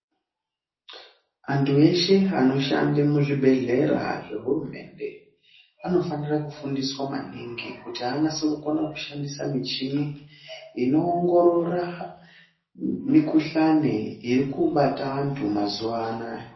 Antu eshe anoshande muzvibhadhlera zvohurumende afanira kufundiswa maningi kuti anase kukona kushandisa michini, inoongorora mikhuhlani iri kubata antu mazuwa anaya.